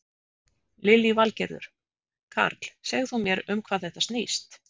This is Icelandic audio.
Lillý Valgerður: Karl, segð þú mér um hvað þetta snýst?